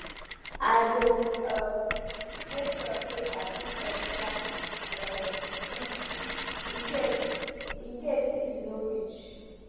i go um make sure say i cook extra um food in case in case if e no reach